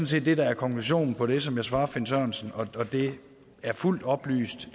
set det der er konklusionen på det som jeg svarer herre finn sørensen og det er fuldt oplyst